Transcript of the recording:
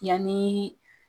Yanni